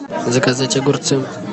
заказать огурцы